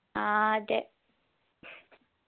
ആ അതെ